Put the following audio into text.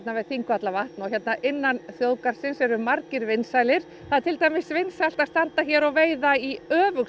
við Þingvallavatn og hérna innan þjóðgarðsins eru margir vinsælir það er til dæmis vinsælt að standa hér og veiða í